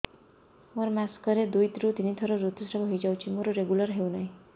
ମୋର ମାସ କ ରେ ଦୁଇ ରୁ ତିନି ଥର ଋତୁଶ୍ରାବ ହେଇଯାଉଛି ମୋର ରେଗୁଲାର ହେଉନାହିଁ